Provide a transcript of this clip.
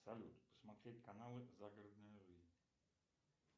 салют посмотреть каналы загородная жизнь